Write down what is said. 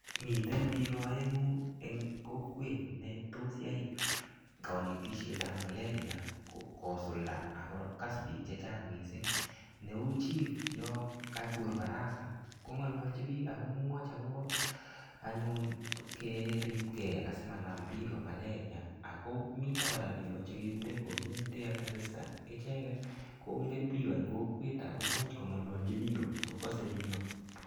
Miten biko oengu eng kokwet netos yai konetishet ap malaria kosulda akokas biik che chang mising neu anyun biik yo kakur baraza kongololchin biik akemwoch akobo anyun keribke asimanam biko malaria akomitokora biko chekekure community health assistant icheket kongen biko eng kokwet akomuch kongolochi biiko akokose biko.